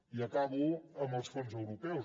i acabo amb els fons europeus